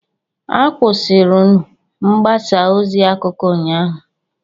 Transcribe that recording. Akwụsịrụ mgbasa ozi akụkọ ụnyaahụ